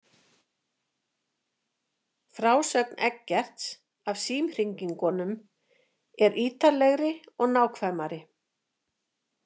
Frásögn Eggerts af símhringingunum er ítarlegri og nákvæmari.